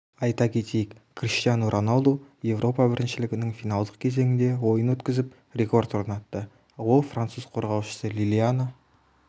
айта кетейік криштиану роналду еуропа біріншілігінің финалдық кезеңінде ойын өткізіп рекорд орнатты ол француз қорғаушысы лилиана